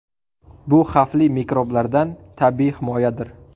Bu xavfli mikroblardan tabiiy himoyadir.